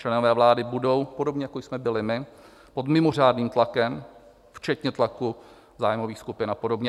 Členové vlády budou - podobně jako jsme byli my - pod mimořádným tlakem, včetně tlaku zájmových skupin a podobně.